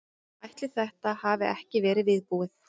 Ætli þetta hafi ekki verið viðbúið.